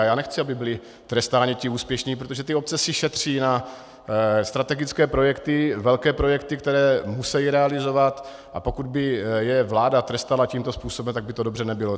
A já nechci, aby byli trestáni ti úspěšní, protože ty obce si šetří na strategické projekty, velké projekty, které musejí realizovat, a pokud by je vláda trestala tímto způsobem, tak by to dobře nebylo.